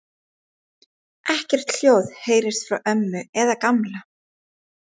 Ekkert hljóð heyrðist frá ömmu eða Gamla.